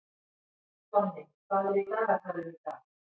Tonni, hvað er í dagatalinu í dag?